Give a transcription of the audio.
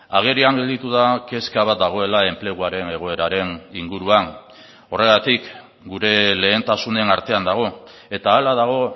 agerian gelditu da kezka bat dagoela enpleguaren egoeraren inguruan horregatik gure lehentasunen artean dago eta hala dago